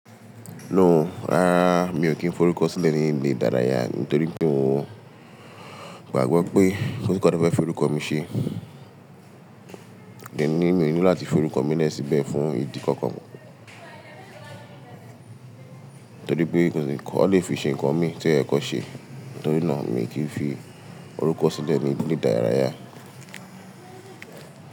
No o, rárá mi ò kí ń fi orúkọ sílẹ̀ ní ilé ìdárayá nítorí pé n o gbàgbọ́ pé ko si ǹkan tan fẹ́ fi orúkọ mi ṣe, deni mi ò nílò láti fi orúkọ mi lẹ́sì bẹ́ẹ̀ fún ìdí kankan. Nítorí pé kosi nkan ọ lè fi ṣe ǹkan mi tí ẹ̀ kọ́ ṣe, nítorí náà mi kì í fi orúkọ sílẹ̀ ní ilé ìdárayá.